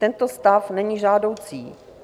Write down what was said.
Tento stav není žádoucí.